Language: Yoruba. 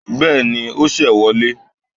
Béèni o ṣe wọlé